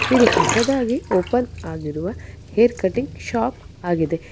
ಇದು ಹೊಸದಾಗಿ ಓಪನ್ ಆಗಿರುವ ಹೇರ್ ಕಟಿಂಗ್ ಶಾಪ್ ಆಗಿದೆ.